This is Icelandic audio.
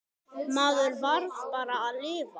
Maður varð bara að lifa.